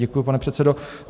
Děkuji, pane předsedo.